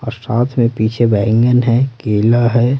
और साथ में पीछे बैंगन है केला है।